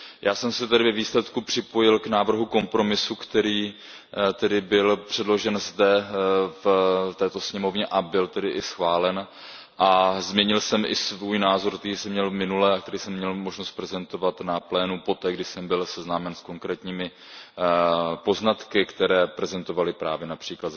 Já jsem se tedy ve výsledku připojil k návrhu kompromisu, který tedy byl předložen zde v této sněmovně a byl tedy i schválen, a změnil jsem i svůj názor, který jsem měl minule a který jsem měl možnost prezentovat na plénu poté, kdy jsem byl seznámen s konkrétními poznatky, které prezentovali právě např.